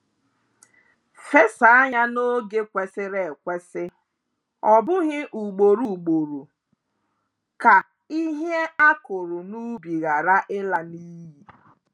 Fesa ya n'oge kwesịrị ekwesị, ọbụghị ugboro ugboro, ka ihe a kụrụ n'ubi hara ịla n'iyi.